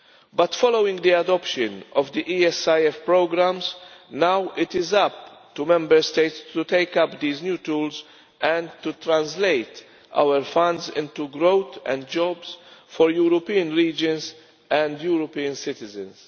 But, following the adoption of the ESIF programmes, now it is up to Member States to take up these new tools and to translate our funds into to growth and jobs for European regions and European citizens.